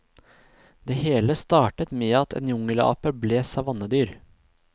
Det hele startet med at en jungelape ble savannedyr.